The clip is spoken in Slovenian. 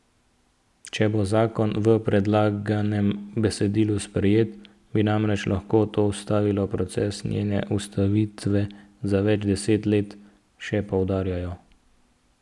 Če bo zakon v predlaganem besedilu sprejet, bi namreč lahko to ustavilo proces njene ustanovitve za več deset let, še poudarjajo.